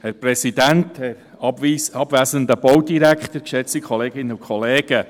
Herr Präsident, Herr Baudirektor, geschätzte Kolleginnen und Kollegen.